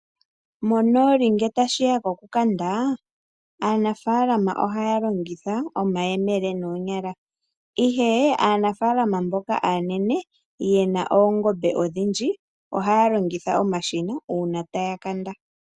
Monooli ngele tashi ya kokukanda aanafaalama ohaya longitha omayemele noonyala, ihe aanafaalama mboka aanene ye na oongombe odhindji ohaya longitha omashina uuna taya kanda.